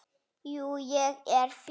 Jú, ég er fínn.